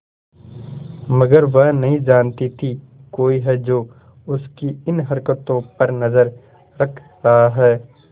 मगर वह नहीं जानती थी कोई है जो उसकी इन हरकतों पर नजर रख रहा है